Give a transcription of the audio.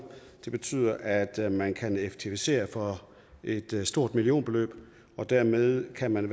det betyder at man kan effektivisere for et stort millionbeløb dermed kan man i